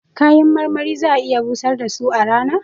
Kayan marmari za'a iya busar da su a rana